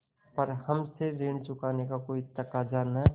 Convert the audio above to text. पर हमसे ऋण चुकाने का कोई तकाजा न